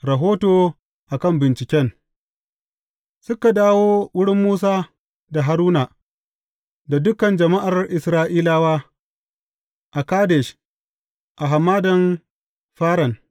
Rahoto a kan binciken Suka dawo wurin Musa, da Haruna, da dukan jama’ar Isra’ilawa, a Kadesh, a Hamadan Faran.